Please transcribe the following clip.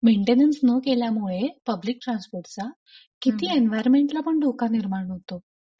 Maintenance न केल्यामुळे public ट्रान्सपोर्टचा किती एनव्हायरमेन्टला पण धोका निर्माण होतो.